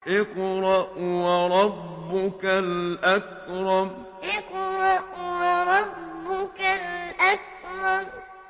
اقْرَأْ وَرَبُّكَ الْأَكْرَمُ اقْرَأْ وَرَبُّكَ الْأَكْرَمُ